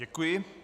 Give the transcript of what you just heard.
Děkuji.